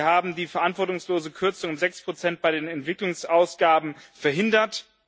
Wir haben die verantwortungslose Kürzung um 6 bei den Entwicklungsausgaben verhindert.